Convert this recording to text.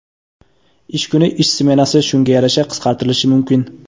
ish kuni (ish smenasi) shunga yarasha qisqartirilishi mumkin.